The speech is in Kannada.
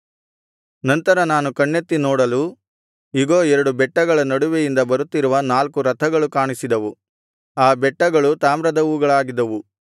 ನಂತರ ನಾನು ಕಣ್ಣೆತ್ತಿ ನೋಡಲು ಇಗೋ ಎರಡು ಬೆಟ್ಟಗಳ ನಡುವೆಯಿಂದ ಬರುತ್ತಿರುವ ನಾಲ್ಕು ರಥಗಳು ಕಾಣಿಸಿದವು ಅ ಬೆಟ್ಟಗಳು ತಾಮ್ರದವುಗಳಾಗಿದ್ದವು